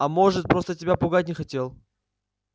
а может просто тебя пугать не хотел